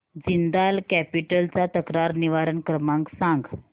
Jindal Capital चा तक्रार निवारण क्रमांक सांग